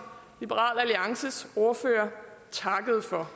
liberal alliances ordfører takkede for